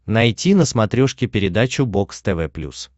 найти на смотрешке передачу бокс тв плюс